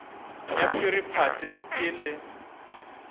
ya phiri phate ke le